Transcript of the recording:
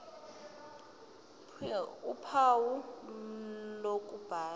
ph uphawu lokubhala